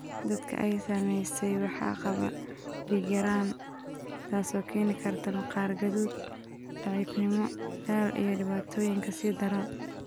Dadka ay saameysay waxaa qaba dhiig-yaraan, taasoo keeni karta maqaar guduudan, daciifnimo, daal, iyo dhibaatooyin ka sii daran.